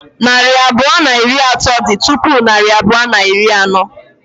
Narị abụọ na iri atọ dị tupu narị abụọ na iri anọ.